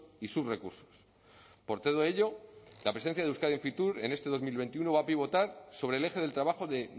y sus recursos por todo ello la presencia de euskadi en fitur en este dos mil veintiuno va a pivotar sobre el eje del trabajo de